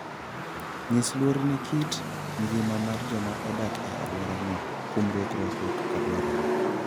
Nyis luor ne kit ngima mar joma odak e alworano kuom rwakruok kaka dwarore.